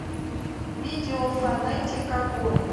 видео фонэтик огонь